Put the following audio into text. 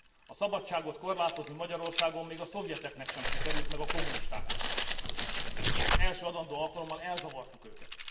A szabadságot korlátozni Magyarországon még a szovjeteknek sem sikerült, meg a kommunistáknak sem, és az első adandó alkalommal elzavartuk őket.